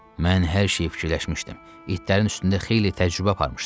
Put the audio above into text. Mən hər şeyi fikirləşmişdim, itlərin üstündə xeyli təcrübə aparmışdım.